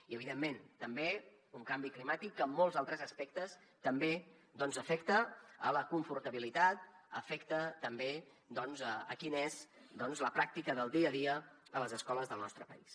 i evidentment també un canvi climàtic que en molts altres aspectes també afecta la confortabilitat afecta també doncs quina és la pràctica del dia a dia a les escoles del nostre país